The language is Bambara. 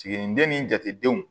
Siginiden ni jatedenw